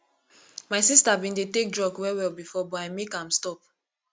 my sister bin dey take drug well well before but i make am stop